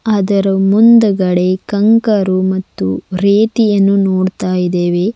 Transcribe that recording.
ಅದರ ಮುಂದುಗಡೆ ಕಂಕರು ಮತ್ತು ರೇತಿಯನ್ನು ನೋಡ್ತಾ ಇದ್ದೇವೆ.